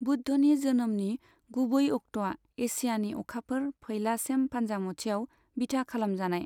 बुद्धनि जोनोमनि गुबै अक्ट'आ एसियानि अखाफोर फैला सेम फान्जामुथियाव बिथा खालामजानाय।